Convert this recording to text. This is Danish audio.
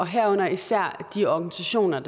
herunder især de organisationer